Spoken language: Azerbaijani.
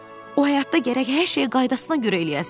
O həyatda gərək hər şey qaydasına görə eləyəsən.